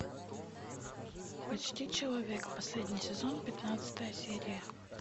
почти человек последний сезон пятнадцатая серия